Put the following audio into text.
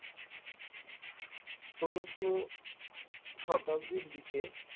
ষোলোশো শতাব্দীর দিকে